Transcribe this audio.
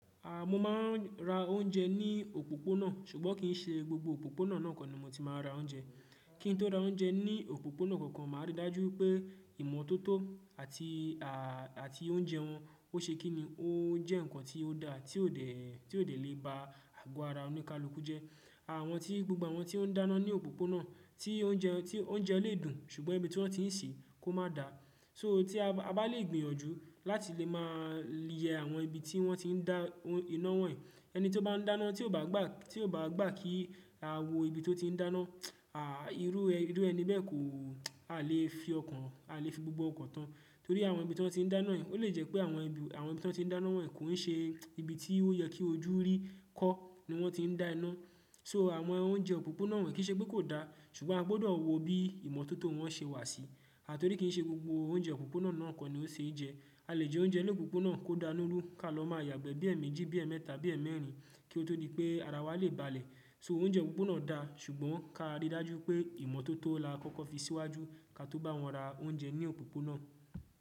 A, mo máa ń ra oúnjẹ ní òpópónà, ṣùgbọ́n kìí ṣe gbogbo òpópónà náà kọ́ ni mo ti máa ń ra oúnjẹ. Kíni tó ra oúnjẹ ní òpópónà kankan máa rí i dájú pé ìmọ́tótó àti, àti oúnjẹ wọn ó ṣe kíni, ó jẹ́ ǹkan tí ó da tí ò dẹ̀, tí ò dẹ̀ lè ba ago ara oníkálukú jẹ. Àwọn tí, gbogbo àwọn tí ó ń dáná ní òpópónà tí oúnjẹ wọn, tí oúnjẹ lè dùn ṣùgbọ́n ibi tí wọ́n ti ń sè kó má da. So, tí a bá lè gbìyànjú láti lè máa yẹ àwọn ibi tí wọ́n ti ń dá iná wọ́nyii. Ẹni tí ó bá ń dáná tí ò bá gbà, tí ò bá gbà kí a wo ibi tí ó ti ń dáná, à, irú ẹni bẹ́ẹ̀ kò, a lè fi ọkàn, a lè fi gbogbo ọkọ̀ tán. Torí àwọn ibi tí wọ́n ti ń dáná yìí ó lè jẹ́ pé àwọn ibi, àwọn ibi tí wọ́n ti ń dáná wọ́nyii kò ń ṣe ibi tí ó yẹ kí ojú rí kó ni wọ́n ti ń dá iná. So àwọn oúnjẹ òpópónà wọ́n kìí ṣe pé kò da, ṣùgbọ́n a gbọdọ̀ wo bí ìmọ́tótó wọn ṣe wà sí. À, torí kìí ṣe gbogbo oúnjẹ òpópónà náà kọ́ ni ó ṣeé jẹ. A lè jẹ oúnjẹ lópópónà kó dánú rú ká lọ máa yàgbẹ́ bí ẹ̀ẹ̀mejì, bí ẹ̀ẹ̀mẹta bí ẹ̀ẹ̀mẹrin kí ó tó di pé ara wa lè balẹ̀. So oúnjẹ òpópónà da ṣùgbọ́n ká rí i dájú pé ìmọ́tótó la kọ́kọ́ fi síwájú ká tó bá wọ́n ra oúnjẹ ní òpópónà.